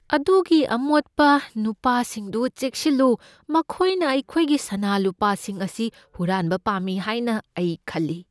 ꯑꯗꯨꯒꯤ ꯑꯃꯣꯠꯄ ꯅꯨꯄꯥꯁꯤꯡꯗꯨ ꯆꯦꯛꯁꯤꯜꯂꯨ꯫ ꯃꯈꯣꯏꯅ ꯑꯩꯈꯣꯏꯒꯤ ꯁꯅꯥ ꯂꯨꯄꯥꯁꯤꯡ ꯑꯁꯤ ꯍꯨꯔꯥꯟꯕ ꯄꯥꯝꯃꯤ ꯍꯥꯏꯅ ꯑꯩ ꯈꯜꯂꯤ꯫